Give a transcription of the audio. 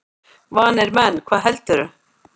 Vanir menn, hvað heldurðu!